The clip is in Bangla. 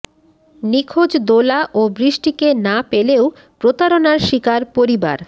নিখোঁজ দোলা ও বৃষ্টিকে না পেলেও প্রতারণার শিকার পরিবার